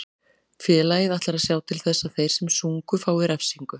Félagið ætlar að sjá til þess að þeir sem sungu fái refsingu.